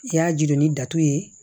I y'a jiru ni datugu ye